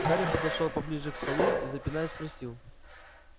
гарри подошёл поближе к столу и запинаясь спросил